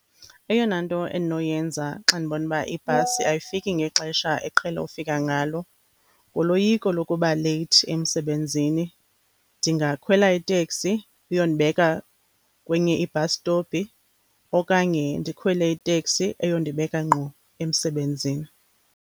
Eyona nto endinoyenza xa ndibona uba ibhasi ayifiki ngexesha eqhele ufika ngalo, nguloyiko lokuba leyithi emsebenzini. Ndingakhwela iteksi iyondibeka kwenye i-bus stop okanye ndikhwele iteksi eyondibeka ngqo emsebenzini.